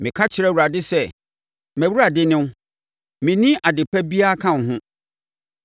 Meka kyerɛɛ Awurade sɛ, “MʼAwurade ne wo; menni adepa biara ka wo ho.”